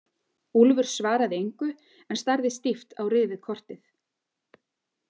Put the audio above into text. Úlfur svaraði engu en starði stíft á rifið kortið.